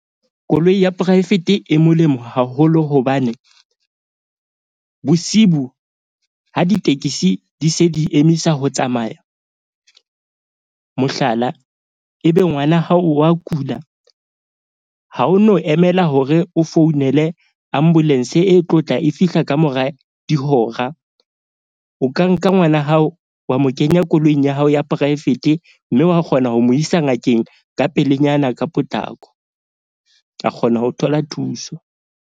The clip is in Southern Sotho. Koloi ya poraefete e molemo haholo hobane bosibu ha ditekesi di se di emisa ho tsamaya. Mohlala, ebe ngwana hao wa kula ha o no emela hore o founele ambulence e tlotla e fihla ka mora dihora. O ka nka ngwana hao wa mo kenya koloing ya hao ya poraefete. Mme wa kgona ho mo isa ngakeng ka pelenyana ka potlako, a kgona ho thola thuso.